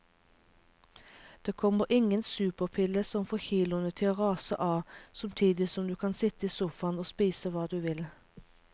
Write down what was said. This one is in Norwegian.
Det kommer ingen superpille som får kiloene til å rase av samtidig som du kan sitte i sofaen og spise hva du vil.